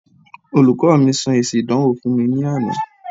Olùkọ́ mi sọ èsì ìdánwò fún mi laana.